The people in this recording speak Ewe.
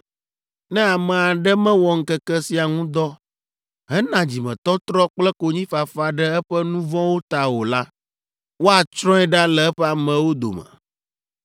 Ne ame aɖe mewɔ ŋkeke sia ŋu dɔ hena dzimetɔtrɔ kple konyifafa ɖe eƒe nu vɔ̃wo ta o la, woatsrɔ̃e ɖa le eƒe amewo dome.